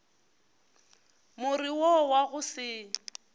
more wo wa go se